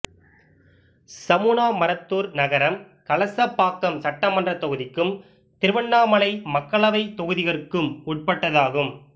சமுனாமரத்தூர் நகரம் கலசப்பாக்கம் சட்டமன்றத் தொகுதிக்கும் திருவண்ணாமலை மக்களவைத் தொகுதிகற்கும் உட்பட்டதாகும்